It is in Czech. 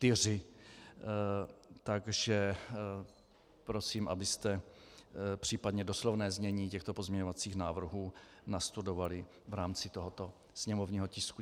Takže prosím, abyste případně doslovné znění těchto pozměňovacích návrhů nastudovali v rámci tohoto sněmovního tisku.